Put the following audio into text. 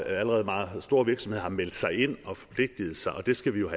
allerede meget store virksomheder har meldt sig ind og forpligtet sig og det skal vi jo